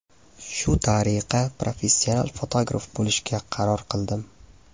Shu tariqa, professional fotograf bo‘lishga qaror qildim.